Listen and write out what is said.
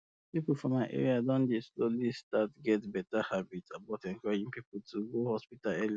people for my area don dey slowly start get better habit about encouraging people to go hospital early um